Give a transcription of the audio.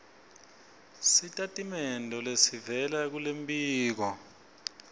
sitatimende lesivela kulombiko